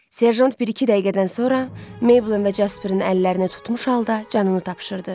Serjant bir-iki dəqiqədən sonra Meybelin və Casperin əllərini tutmuş halda canını tapşırdı.